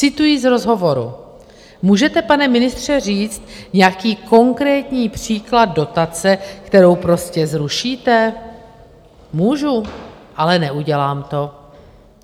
Cituji z rozhovoru: Můžete, pane ministře, říct nějaký konkrétní příklad dotace, kterou prostě zrušíte? - Můžu, ale neudělám to.